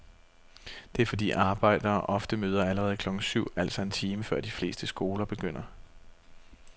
Det er fordi arbejdere ofte møder allerede klokken syv, altså en time før de fleste skoler begynder.